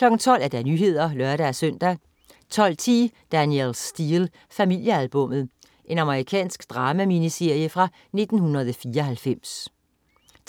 12.00 Nyhederne (lør-søn) 12.10 Danielle Steel. Familiealbummet. Amerikansk drama-miniserie fra 1994